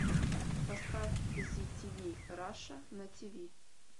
поставь зи ти ви раша на ти ви